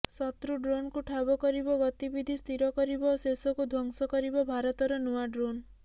ଶତ୍ରୁ ଡ୍ରୋନକୁ ଠାବ କରିବ ଗତିବିଧି ସ୍ଥିର କରିବ ଓ ଶେଷକୁ ଧ୍ୱଂସ କରିବ ଭାରତର ନୁଆ ଡ୍ରୋନ୍